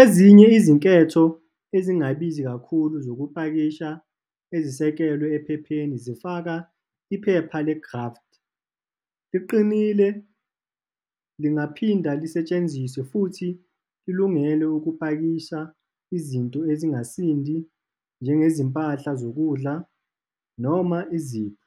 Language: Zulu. Ezinye izinketho ezingabizi kakhulu zokupakisha ezisekelwe ephepheni zifaka iphepha le-graft. Liqinile, lingaphinde lisetshenziswe futhi lilungele ukupakisha izinto esingasindi njengezimpahla zokudla noma izipho.